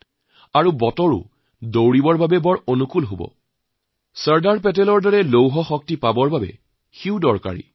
বৰ্তমান পৰিৱেশ এনে হৈছেগৈ যে দৌৰিও ভাল লাগেচৰ্দাৰ চাহাবৰ দৰে লৌহশক্তি পোৱাৰ বাবে সেইটো জৰুৰী